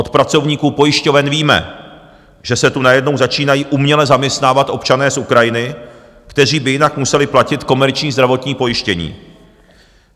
Od pracovníků pojišťoven víme, že se tu najednou začínají uměle zaměstnávat občané z Ukrajiny, kteří by jinak museli platit komerční zdravotní pojištění.